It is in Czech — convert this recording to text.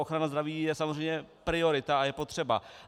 Ochrana zdraví je samozřejmě priorita a je potřeba.